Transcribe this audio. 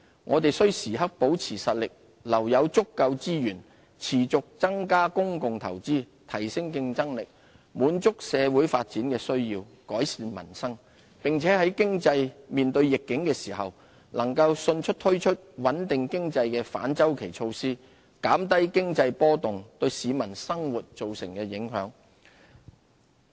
我們須時刻保持實力，留有足夠資源持續增加公共投資、提升競爭力、滿足社會發展的需要、改善民生；並且在經濟面對逆境時，能夠迅速推出穩定經濟的反周期措施，減低經濟波動對市民生活造成的影響。